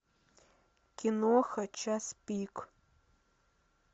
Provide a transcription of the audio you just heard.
киноха час пик